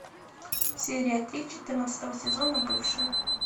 серия три четырнадцатого сезона бывшие